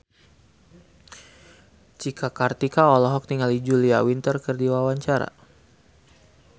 Cika Kartika olohok ningali Julia Winter keur diwawancara